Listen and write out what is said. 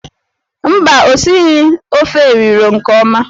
Mba, o sighi efo riro nke oma.